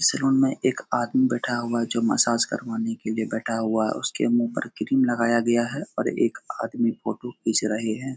इस रूम में एक आदमी बैठा हुआ है जो मसाज करवाने के लिए बैठा हुआ है। उसके मू पे क्रीम लगाया गया है और एक आदमी फोटो खीच रहे हैं।